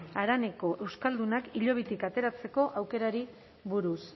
haraneko euskaldunak hilobitik ateratzeko aukerari buruz